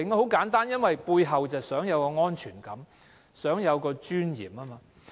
很簡單，因為他們想有安全感，想生活有尊嚴。